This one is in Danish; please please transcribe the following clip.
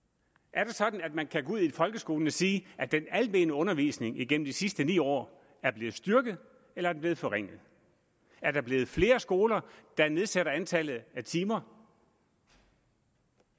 er det sådan at man kan gå ud i folkeskolen og sige at den almene undervisning igennem de sidste ni år er blevet styrket eller er blevet forringet er der blevet flere skoler der nedsætter antallet af timer